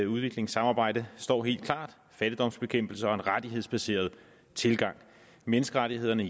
udviklingssamarbejde står helt klart fattigdomsbekæmpelse og en rettighedsbaseret tilgang menneskerettighederne